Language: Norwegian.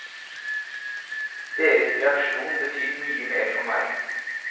Deres reaksjon betyr mye mer for meg.